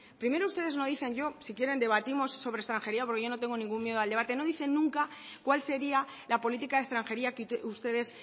primero ustedes no dicen yo si quieren debatimos sobre extranjería porque yo no tengo ningún miedo al debate no dicen nunca cuál sería la política de extranjería que ustedes